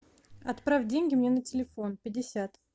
отправь деньги мне на телефон пятьдесят